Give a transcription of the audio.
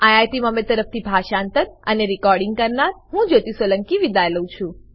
IIT Bombay તરફથી હું જ્યોતી સોલંકી વિદાય લઉં છું